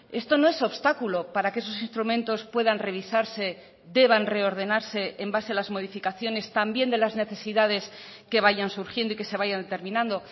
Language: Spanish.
esto no es obstáculo para que esos instrumentos puedan revisarse deban reordenarse en base a las modificaciones también de las necesidades que vayan surgiendo y que se vayan terminando